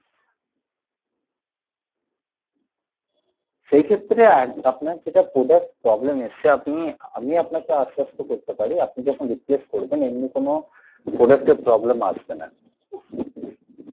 সেই ক্ষেত্রে আপনার যেটা product problem এসছে আপনি আমি আপনাকে আশ্বাত করতে পারি আপনি যখন replace করবেন এমনি কোনো product এর problem আসবে না।